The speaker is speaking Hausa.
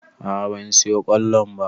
A'a ban siyo ƙwallon ba